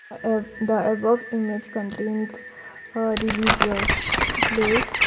uh the above image contains a religious place.